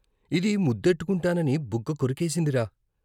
ఇది ముద్దెట్టుకుంటానని బుగ్గ కొరికేసిందిరా!